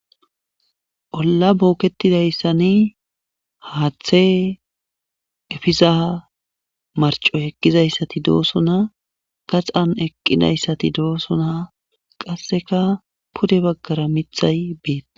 olla booketidayssani haathe efiza marco eqqizayssati doosona gaxan eqqidayssati doosona qasseka pude baggara mithay beet